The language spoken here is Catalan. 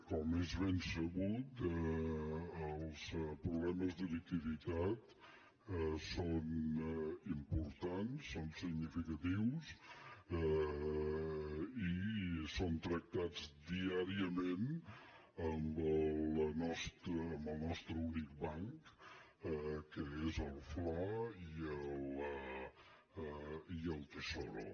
com és ben sabut els problemes de liquiditat són importants són significatius i són tractats diàriament amb el nostre únic banc que és el fla i el tesoro